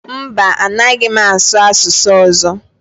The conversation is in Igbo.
Mba, anaghị m asụ asụsụ ọzọ